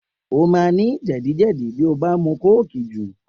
O máa ní jè̩díjè̩dí bí o bá mu kóòkì jù